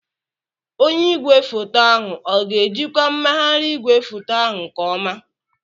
Onye igwefoto ahụ ọ ga-ejikwa mmegharị igwefoto ahụ nke ọma?